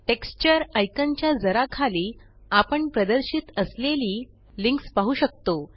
texture icon च्या जरा खाली आपण प्रदर्शित असलेली लिंक्स पाहु शकतो